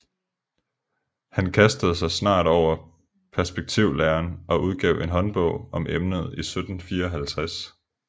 Han kastede sig snart over perspektivlæren og udgav en håndbog om emnet i 1754